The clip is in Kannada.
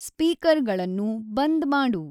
ಸ್ಪೀಕರ್ಗಳನ್ನು ಬಂದ್ ಮಾಡು